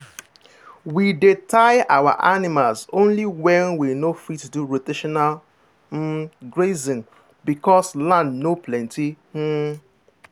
we dey tie our animals only when we no fit do rotational um grazing because land no plenty. um